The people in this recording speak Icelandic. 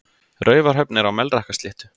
Raufarhöfn er á Melrakkasléttu.